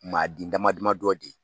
Maa di dama dama dɔ de.